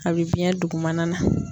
A bɛ biyɛn dugumana na.